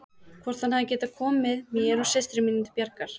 Hvort hann hefði getað komið mér og systrum mínum til bjargar.